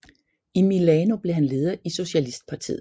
I Milano blev han leder i socialistpartiet